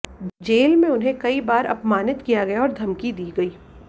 jail में उन्हें कई बार अपमानित किया गया और धमकी दी गई